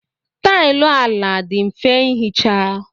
Taịlị ala dị mfe ihicha.